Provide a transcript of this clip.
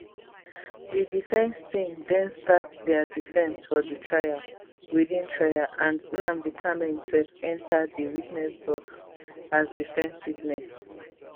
di defence team den start dia defence for di trial within trial and nnamdi kanu imsef enta di witness box as defence witness